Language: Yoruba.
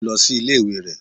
Ó lọ sí ilé ìwé rẹ̀.